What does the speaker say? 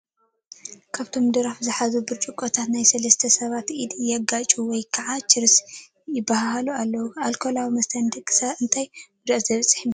ካብቶም ድራፍ ዝሓዙ ብጭርቆታት ናይቶም 3 ሰብ ኢድ የጋጭውዎ ወይ ከዓ ቺርስ ይባሃሃሉ ኣለው፡፡ ኣልኮላዊ መስተ ንደቂ ሰባት እንታ ጉድኣት ዘብፅሑ ይመለኩም?